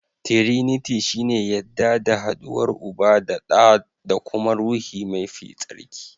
Tiriniti shi ne yadda da haduwar Uba, ɗa da kuma Ruhi mafi tsarki.